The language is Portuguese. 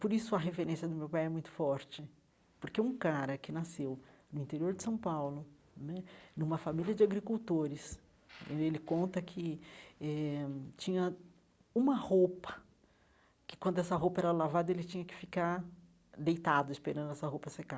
Por isso, a referência do meu pai é muito forte, porque um cara que nasceu no interior de São Paulo né, numa família de agricultores, ele conta que eh tinha uma roupa que, quando essa roupa era lavada, ele tinha que ficar deitado esperando essa roupa secar.